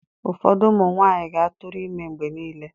Ụfọdụ ụmụ nwaanyị ga-atụrụ ime mgbe niile.